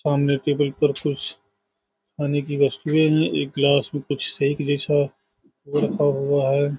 सामने टेबल पर कुछ खाने की वस्तुएं हैं एक ग्लास में कुछ शेक जैसा रखा हुआ है।